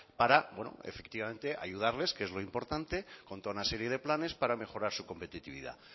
para efectivamente ayudarles que es lo importante contra una serie de planes para mejorar su competitividad